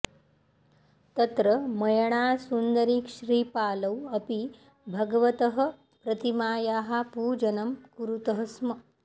तत्र मयणासुन्दरीश्रीपालौ अपि भगवतः प्रतिमायाः पूजनं कुरुतः स्म